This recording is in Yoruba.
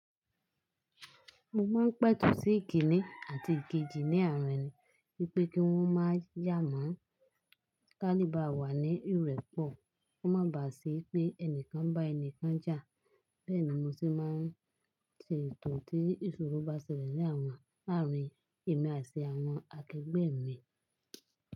Mo máa ń pẹ̀tù sí ìkíni àti ìkejì ní àárín, wípé kí wón má yà mọ́, ká lè bá wà ní ìrẹ́pọ̀, kó má bàà sí pé ẹnìkan bá ẹnìkan jà. Bẹ́ẹ̀ni mo sì máa ń ṣe ètò tí ìṣòro bá ṣẹlẹ̀ ní àárín èmi àti àwọn akẹgbẹ́ mi.